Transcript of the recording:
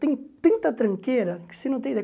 Tem tanta tranqueira que você não tem